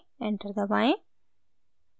enter दबाएं